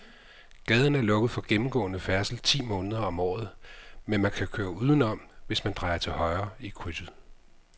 Gaden er lukket for gennemgående færdsel ti måneder om året, men man kan køre udenom, hvis man drejer til højre i krydset.